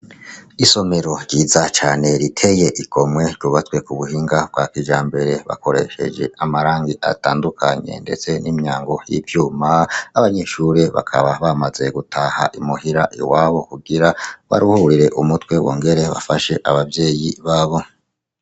Isomero ryiza cane riteye igomwe ryubatswe kubuhinga bwa kijambere bakoresheje amarangi atandukanye ndetse nimyango yivyuma n'abanyeshure bakaba bamaze gutaha imuhira iwabo kugira baruhurire umutwe bongere bafashe abavyeyi babo.